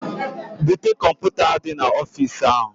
Bute kọmputa di na ofis ahu